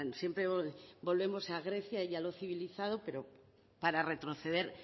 siempre volvemos a grecia y a lo civilizado pero para retroceder